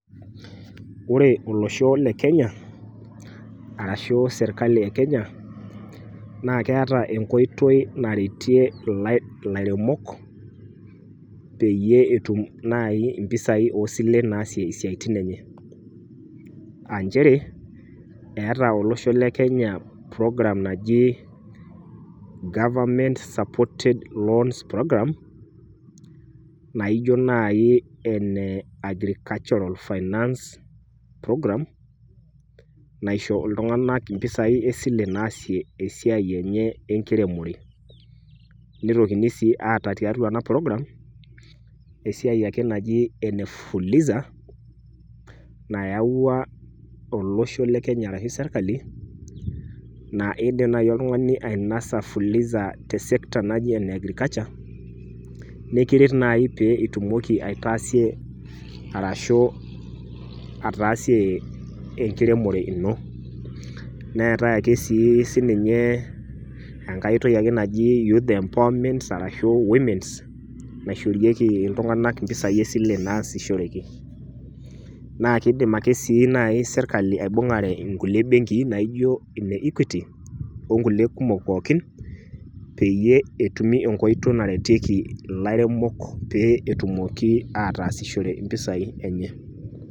Ore olosho le kenya arashu sirkali ekenya naa keeta enkoitoi naretie ilai, ilairemok peyie etum nai impisai osilen naasie isiatin enye . Aa nchere eeta olosho le kenye program naji government supported loans program naijo nai ene agricultural finance program naisho iltunganak impisai esile naasie esiai enye enkiremore. Nitokini sii aata tiatua ena program esiai ake naji enefuliza , nayawua olosho le kenya arashu sirkali naa idim nai oltungani ainasa fuliza te sector naji ene agriculture nekiret naji pitumoki aitaasie arashu ataasie enkiremore ino . Neetae ake sii sininye enkae oitoi naji youth empowerment arashu womens naishoorieki iltunganak impisai esile naasishoreki. Naa kidim ake nai sirkali aibungare inkulie benkii naijo ineequity onkulie kumok pookin peyie etumi enkoitoi naretieki ilairemok pee etumoki ataasishore impisai enye.